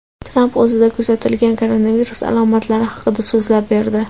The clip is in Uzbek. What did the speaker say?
Tramp o‘zida kuzatilgan koronavirus alomatlari haqida so‘zlab berdi.